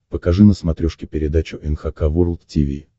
покажи на смотрешке передачу эн эйч кей волд ти ви